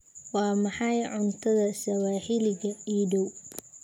Waa maxay cuntada sawaaxiliga ii dhow?